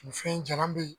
Nin fɛn jalan be ye